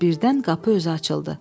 Amma birdən qapı özü açıldı.